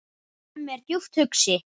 Hemmi er djúpt hugsi.